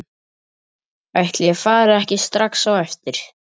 Ætli ég fari ekki strax á eftir.